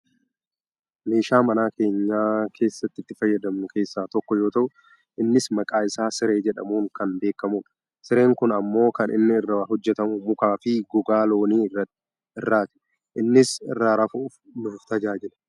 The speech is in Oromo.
Meeshaa mana keenya keessatti itti fayyadamnu keessaa tokko yoo ta'u innis maqaa isaa siree jedhamuun kan beekkamudha. Sireen kun ammoo kan inni irraa hojjatamu mukaa, fi gogaa loonii irraati. Innis irra rafuuf nu tajaajila.